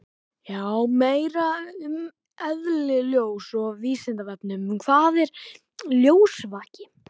Meira um eðli ljóss á Vísindavefnum: Hvað er ljósvaki?